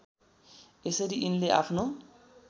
यसरी यिनले आफ्नो